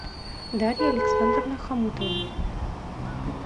дарья александровна хомутова